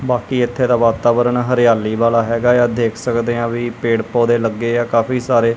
ਬਾਕੀ ਇਥੇ ਤਾ ਵਾਤਾਵਰਨ ਹਰਿਆਲੀ ਵਾਲਾ ਹੈਗਾ ਇਆ ਦੇਖ ਸਕਦੇ ਆ ਵੀ ਪੇੜ ਪੌਦੇ ਲੱਗੇ ਆ ਕਾਫੀ ਸਾਰੇ।